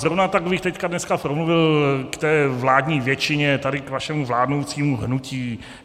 Zrovna tak bych teď, dneska, promluvil k té vládní většině, tady k vašemu vládnoucímu hnutí.